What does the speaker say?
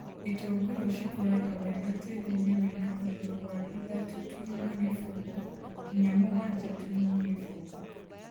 itũngũrũ cikũraga wega tĩrinĩ wĩna ũrũrũ wa ithatũ turuma gĩbũgũ nginya mũgwanja turuma gĩbũgũ